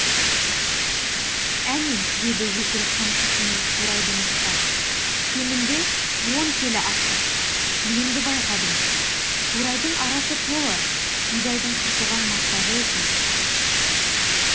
әне деді өкіл қамшысымен қурайды нұсқап кемінде он келі астық енді байқадым қурайдың арасы толы бидайдың қырқылған масағы екен